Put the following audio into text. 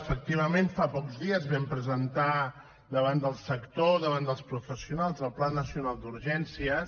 efectivament fa pocs dies vam presentar davant del sector davant dels professionals el pla nacional d’urgències